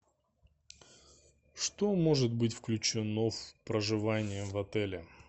что может быть включено в проживание в отеле